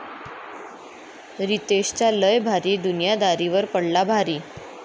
रितेशचा लय भारी दुनियादारीवर पडला भारी